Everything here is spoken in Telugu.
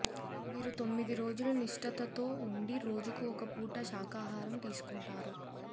వీరు తొమ్మిది రోజులు నిష్టతో ఉండి రోజుకు ఒక పూట శాకాహారం తీసుకుంటారు